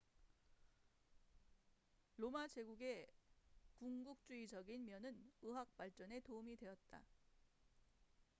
로마 제국의 군국주의적인 면은 의학 발전에 도움이 되었다